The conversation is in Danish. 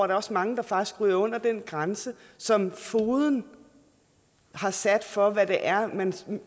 der også mange der faktisk ryger under den grænse som fogeden har sat for hvad det er man